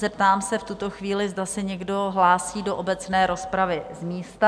Zeptám se v tuto chvíli, zda se někdo hlásí do obecné rozpravy z místa?